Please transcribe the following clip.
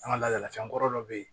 An ka ladalafan dɔ bɛ yen